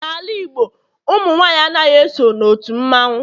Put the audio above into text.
N'ala Igbo ụmụ nwanyị anaghị eso n'otu mmanwu